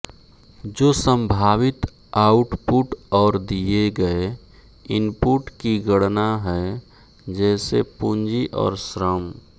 जो संभावित आउटपुट और दिए गए इनपुट की गणना है जैसे पूंजी और श्रम